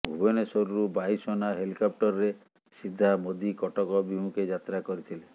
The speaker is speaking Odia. ଭୁବନେଶ୍ୱରରୁ ବାୟୁସେନା ହେଲିକପ୍ଟରରେ ସିଧା ମୋଦି କଟକ ଅଭିମୁଖେ ଯାତ୍ରା କରିଥିଲେ